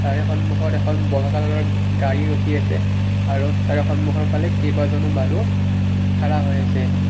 তাৰে সন্মুখত এখন বগা কালাৰৰ গাড়ী ৰখি আছে আৰু তাৰে সন্মুখৰ ফালে কেইবাজনো মানুহ খাৰা হৈ আছে।